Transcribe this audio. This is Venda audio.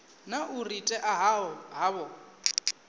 na u ri ṅea havho